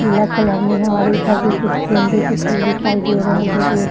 पिला कलर में है और इधर भी कुछ गेंदे के फुल दिखाई दे रहे है जो रेड --